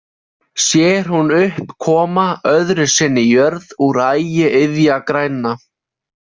Sér hún upp koma öðru sinni jörð úr ægi iðjagræna.